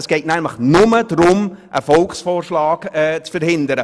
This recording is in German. Es geht nämlich nur darum, einen Volksvorschlag zu verhindern.